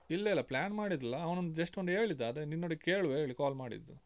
ಇಲ್ಲ ಇಲ್ಲ plan ಮಾಡಿರ್ಲಿಲ್ಲ ಅವ್ನು ಒಂದು just ಒಂದ್ ಹೇಳಿದ ಅದನ್ನು ನಿನ್ನೊಟ್ಟಿಗೆ ಕೇಳುವಾ ಹೇಳಿ call ಮಾಡಿದ್ದು.